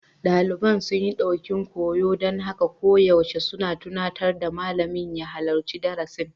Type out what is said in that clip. Daliban sun ɗokin koyo, don haka koyaushe suna tunatar da malamin ya halarci darasi.